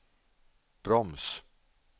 broms